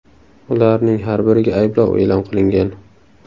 Ularning har biriga ayblov e’lon qilingan.